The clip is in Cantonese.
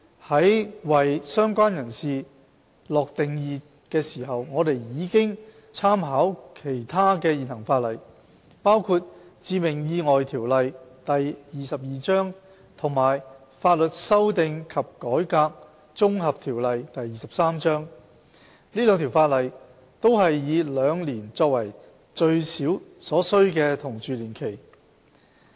在為"相關人士"下定義時，我們已參考其他現行法例，包括《致命意外條例》和《法律修訂及改革條例》，這兩項法例均是以兩年作為最少所需同住年期。